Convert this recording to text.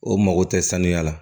O mago tɛ sanuya la